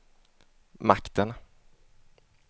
makten